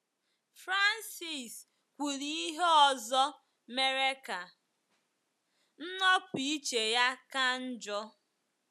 Frances kwuru ihe ọzọ mere ka nnopụ iche ya ka njọ.